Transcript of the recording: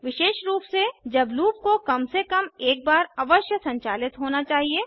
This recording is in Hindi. विशेष रूप से जब लूप को कम से कम एक बार अवश्य संचालित होना चाहिए